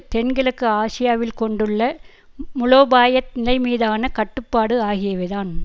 தென்கிழக்கு ஆசியாவில் கொண்டுள்ள மூலோபாய நிலைமீதான கட்டுப்பாடு ஆகியவைதான்